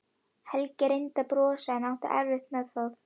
Helgi reyndi að brosa en átti erfitt með það.